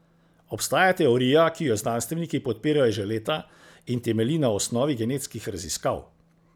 Obstaja teorija, ki jo znanstveniki podpirajo že leta in temelji na osnovi genetskih raziskav.